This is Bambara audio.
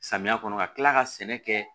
Samiya kɔnɔ ka tila ka sɛnɛ kɛ